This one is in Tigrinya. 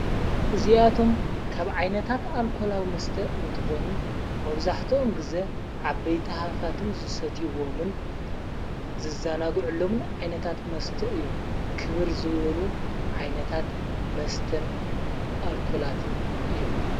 እዚኣቶም ካብ ዓይነታት ኣልኮላዊ መስተ እንትኾኑ መውዛሕተኦም ጊዜ ዓብ በይቲ ሃፋትም ዙሰትይዎምን ዝዛናጕዑሎምን ዓይነታት መስተ እዮም ክብር ዝወኑ ዓይነታት መስተን ኣልኮላትን እዮም።